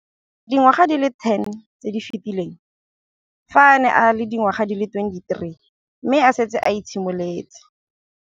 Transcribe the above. Dingwaga di le 10 tse di fetileng, fa a ne a le dingwaga di le 23 mme a setse a itshimoletse